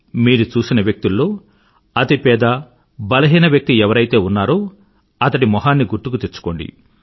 మీరు చూసిన వ్యక్తుల్లో అతి పేద బలహీన వ్యక్తి ఎవరైతే ఉన్నారో అతడి మొహాన్ని గుర్తుకు తెచ్చుకోండి